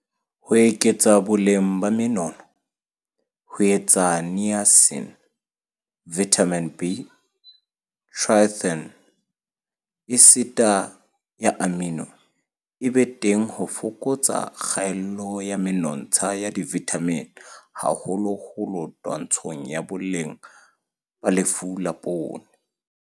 Ho eketsa boleng ba menono - ho etsa Niacin, Vitamin B, Tryptophan, esiti ya amino, e be teng ho fokotsa kgaello ya menontsha ya divithamine - haholoholo twantshong ya bolwetse ba lefu la poone.